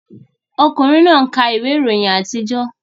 Ọkùnrin náà ń ka ìwé ìròyìn àtijọ́